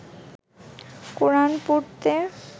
কোরান পড়তে